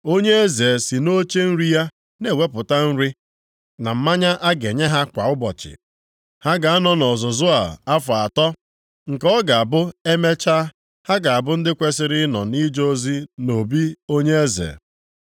Onye eze si nʼoche nri ya na-ewepụta nri na mmanya a ga-enye ha kwa ụbọchị. Ha ga-anọ nʼọzụzụ a afọ atọ, nke ọ ga-abụ e mechaa, ha ga-abụ ndị kwesiri ịnọ nʼije ozi nʼobi onye eze.